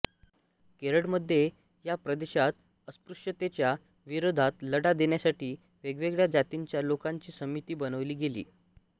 केरळमध्ये या प्रदेशात अस्पृश्यतेच्या विरोधात लढा देण्यासाठी वेगवेगळ्या जातींच्या लोकांची समिती बनविली गेली